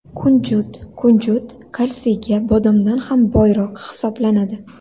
Kunjut Kunjut kalsiyga bodomdan ham boyroq hisoblanadi.